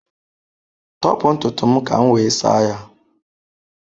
Tọpụ ntutu m ka m wee saa ya.